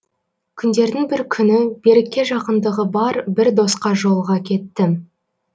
күндердің бір күні берікке жақындығы бар бір досқа жолыға кеттім